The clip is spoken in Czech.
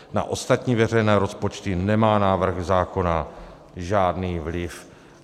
Na ostatní veřejné rozpočty nemá návrh zákona žádný vliv.